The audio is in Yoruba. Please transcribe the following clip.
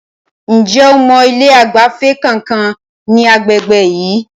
Ǹjẹ́ o mọ ilé ìgbafẹ́ kankan ní agbègbè yìí?